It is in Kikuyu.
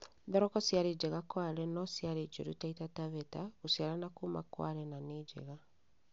Thoroko ciarĩ njega Kwale no ciarĩ njũru Taita Taveta, gũciara na kũũma Kwale na nĩ njega